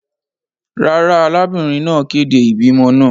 Rara, arabinrin naa kede ibimọ naa.